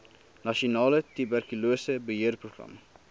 nasionale tuberkulose beheerprogram